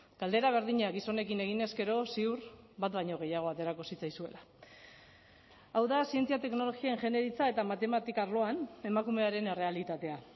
galdera berdina gizonekin eginez gero ziur bat baino gehiago aterako zitzaizuela hau da zientzia teknologia ingeniaritza eta matematika arloan emakumearen errealitatea